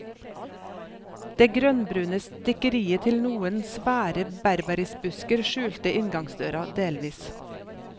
Det grønnbrune stikkeriet til noen svære berberisbusker skjulte inngangsdøra delvis.